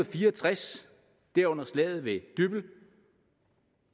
fire og tres derunder slaget ved dybbøl